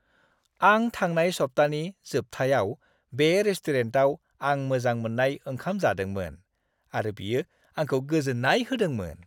आं थांनाय सप्तानि जोबथायाव बे रेस्टुरेन्टाव आं मोजां मोननाय ओंखाम जादोंमोन, आरो बियो आंखौ गोजोन्नाय होदोंमोन।